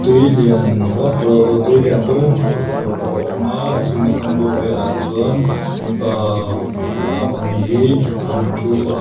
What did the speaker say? tui lian vak lo aw tui lian pui hi hmuh tur a awm a chumi kam bawr vel ah chuan mipa ahh pahnih hi an thu a.